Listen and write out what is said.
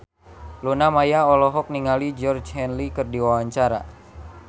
Luna Maya olohok ningali Georgie Henley keur diwawancara